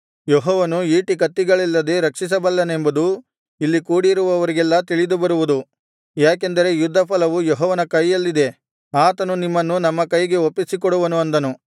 ಯೆಹೋವನು ಈಟಿಕತ್ತಿಗಳಿಲ್ಲದೇ ರಕ್ಷಿಸಬಲ್ಲನೆಂಬುದು ಇಲ್ಲಿ ಕೂಡಿರುವವರಿಗೆಲ್ಲಾ ತಿಳಿದುಬರುವುದು ಯಾಕೆಂದರೆ ಯುದ್ಧಫಲವು ಯೆಹೋವನ ಕೈಯಲ್ಲಿದೆ ಆತನು ನಿಮ್ಮನ್ನು ನಮ್ಮ ಕೈಗೆ ಒಪ್ಪಿಸಿಕೊಡುವನು ಅಂದನು